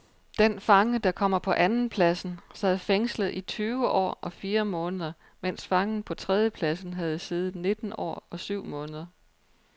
Den fange, der kommer på andenpladsen sad fængslet i tyve år og fire måneder, mens fangen på tredjepladsen havde siddet nitten år og syv måneder.